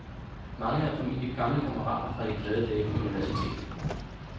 Mange er formentlig gamle kammerater fra de glade dage på universitetet.